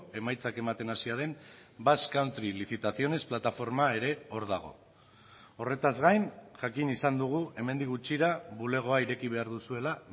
emaitzak ematen hasia den basque country licitaciones plataforma ere hor dago horretaz gain jakin izan dugu hemendik gutxira bulegoa ireki behar duzuela